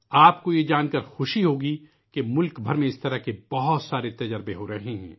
آپ کو یہ جان کر خوشی ہوگی کہ ملک بھر میں ، اِس طرح کی کئی کوششیں ہو رہی ہیں